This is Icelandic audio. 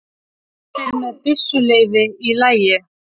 Allir með byssuleyfi í lagi